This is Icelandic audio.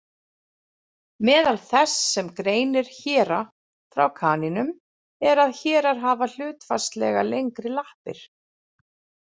Meðal þess sem greinir héra frá kanínum er að hérar hafa hlutfallslega lengri lappir.